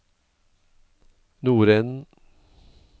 nordenden